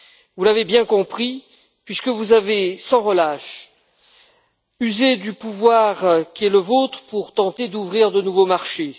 Vous l'avez bien compris puisque vous avez, sans relâche, usé du pouvoir qui est le vôtre pour tenter d'ouvrir de nouveaux marchés.